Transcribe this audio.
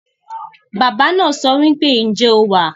Baba naa sowipe, "Nje o wa?"